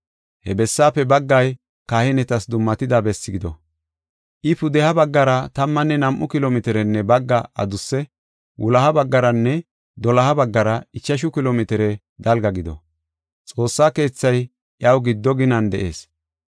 He bessaafe baggay kahinetas dummatida besse gido; I pudeha baggara tammanne nam7u kilo mitirenne bagga adusse; wuloha baggaranne doloha baggara ichashu kilo mitire dalga gido. Xoossa keethay iyaw giddo ginan de7ees.